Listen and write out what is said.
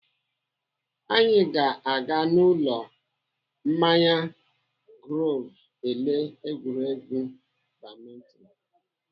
Anyị ga-aga n'ụlọ mmanya Groove ele egwuregwu badminton.